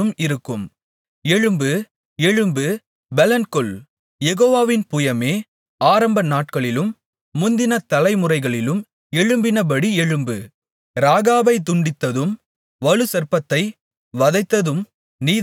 எழும்பு எழும்பு பெலன்கொள் யெகோவாவின் புயமே ஆரம்ப நாட்களிலும் முந்தின தலைமுறைகளிலும் எழும்பினபடி எழும்பு இராகாபைத் துண்டித்ததும் வலுசர்ப்பத்தை வதைத்ததும் நீதானல்லவோ